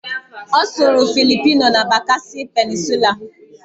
Ọ sụrụ Philipino na Bakasi Peninsulaa